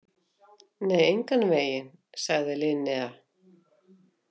Nei, engan veginn, sagði Linnea.